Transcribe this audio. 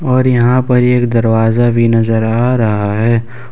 और यहां पर एक दरवाजा भी नजर आ रहा है ।